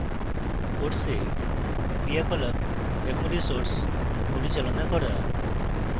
course ক্রিয়াকলাপ এবং resources পরিচালনা করা